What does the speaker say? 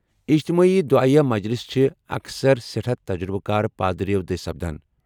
اجتمٲعی دُعایہ مجلِسہٕ چھِ اكثر سیٹھاہ تجرُبہٕ كار پادریو٘ دٕسۍ سپدان ۔